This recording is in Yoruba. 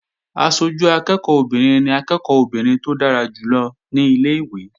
Aṣojú akẹ́ẹ̀kọ́ obìnrin ni akẹ́ẹ̀kọ́ obìnrin tó dára jù lọ ní ilé-ìwé